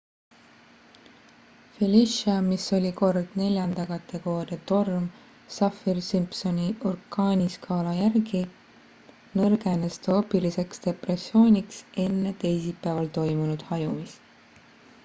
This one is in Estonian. felicia mis oli kord 4 kategooria torm saffir-simpsoni orkaaniskaala järgi nõrgenes troopiliseks depressiooniks enne teisipäeval toimunud hajumist